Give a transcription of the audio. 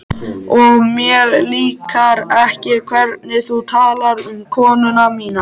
Og mér líkar ekki hvernig þú talar um konuna mína